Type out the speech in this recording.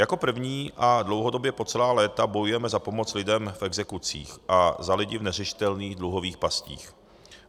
Jako první a dlouhodobě po celá léta bojujeme za pomoc lidem v exekucích a za lidi v neřešitelných dluhových pastích.